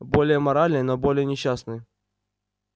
более моральный но более несчастный